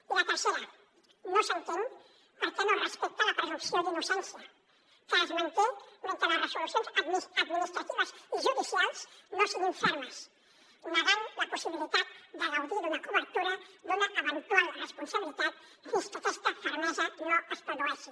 i la tercera no s’entén per què no es respecta la presumpció d’innocència que es manté mentre les resolucions administratives i judicials no siguin fermes negant la possibilitat de gaudir d’una cobertura d’una eventual responsabilitat fins que aquesta fermesa no es produeixi